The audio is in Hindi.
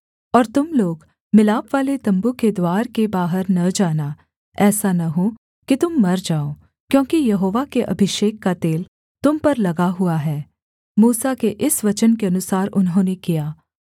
और तुम लोग मिलापवाले तम्बू के द्वार के बाहर न जाना ऐसा न हो कि तुम मर जाओ क्योंकि यहोवा के अभिषेक का तेल तुम पर लगा हुआ है मूसा के इस वचन के अनुसार उन्होंने किया